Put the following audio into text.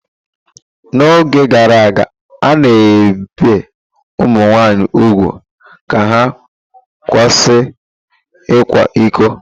N'oge gara aga, a na-ebi ụmụ nwanyị úgwù ka ha kwụsị ịkwa iko.